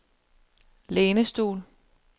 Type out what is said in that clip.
lænestol